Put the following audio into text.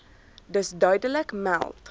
dus duidelik meld